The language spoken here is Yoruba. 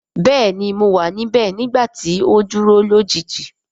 Bẹẹni mo wa nibẹ nigbati o duro lojiji.